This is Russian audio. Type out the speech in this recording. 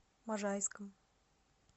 можайском